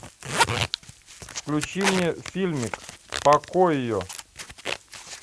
включи мне фильмик покойо